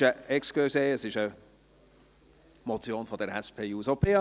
Entschuldigen Sie, es ist eine Motion der SP-JUSO-PSA-Fraktion!